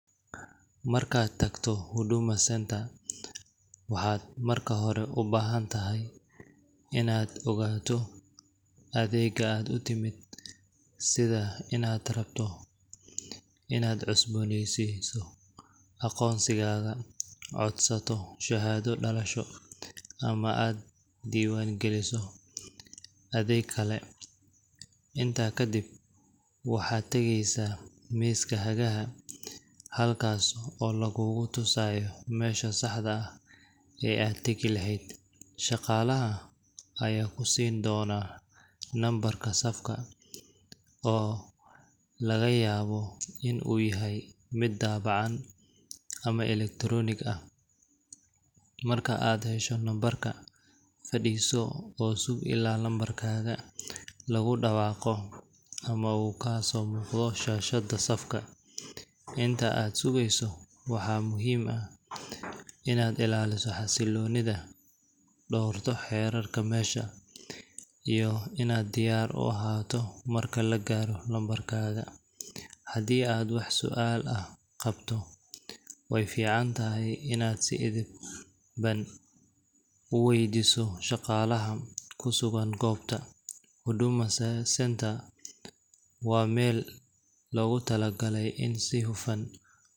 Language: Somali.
Markaad tagto Huduma Centre, waxaad marka hore u baahantahay inaad ogaato adeegga aad u timid sida in aad rabto inaad cusboonaysiiso aqoonsigaaga, codsato shahaado dhalasho, ama aad diiwaangeliso adeeg kale. Intaa kadib, waxaad tagaysaa miiska hagaha halkaas oo lagugu tusayo meesha saxda ah ee aad tagi lahayd. Shaqaalaha ayaa ku siin doona nambarka safka, oo laga yaabo in uu yahay mid daabacan ama elektaroonik ah. Marka aad hesho nambarka, fadhiiso oo sug illaa lambarkaaga lagu dhawaaqo ama uu ka soo muuqdo shaashadda safka. Inta aad sugeyso, waxaa muhiim ah inaad ilaaliso xasiloonida, dhowrto xeerarka meesha, iyo inaad diyaar u ahaato marka la gaaro lambarkaaga. Haddii aad wax su’aalo ah qabto, way fiicantahay inaad si edban u weydiiso shaqaalaha ku sugan goobta. Huduma Centre waa meel loogu talagalay in si hufan.